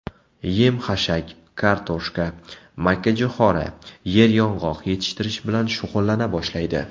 Yem-xashak, kartoshka, makkajo‘xori, yeryong‘oq yetishtirish bilan shug‘ullana boshlaydi.